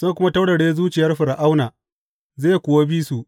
Zan kuma taurare zuciyar Fir’auna, zai kuwa bi su.